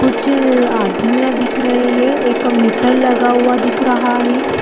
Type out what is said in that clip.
कुछ आदमियाँ दिख रहै है एक मीटर लगा हुआ दिख रहा है।